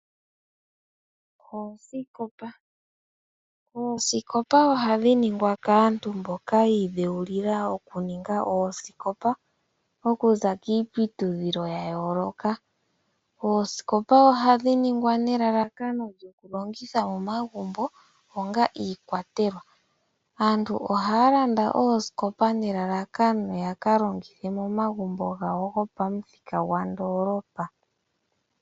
Oosikopa, oosikopa ohadhi ningwa kaantu mboka yiidhewulila oku ninga oosikopa oku za kiiputudhilo ya yooloka. Oosikopa ohadhi ningwa nelalakano lyoku longitha momagumbo onga iikwatelwa aantu ohaya landa oosikopa nelalakano ya ka longitha momagumbo gopamuthika gwandoolopa.